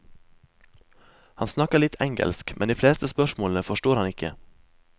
Han snakker litt engelsk, men de fleste spørsmålene forstår han ikke.